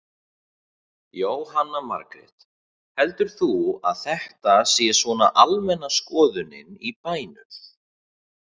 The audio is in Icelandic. Jóhanna Margrét: Heldur þú að þetta sé svona almenna skoðunin í bænum?